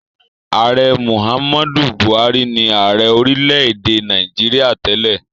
Ààrẹ Muhammad Buhari ni ààrẹ orílẹ̀-èdè Nàìjíríà tẹ́lẹ̀.